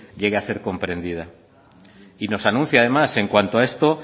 llegue a ser comprendida y nos anuncia además en cuanto a esto